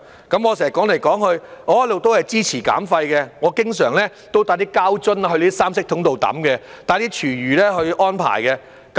我不斷重複的說，我一直都支持減廢，我經常把膠樽帶到三色桶丟棄，安排廚餘棄置。